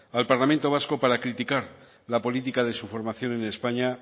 al parlamento vasco para criticar la política de su formación en españa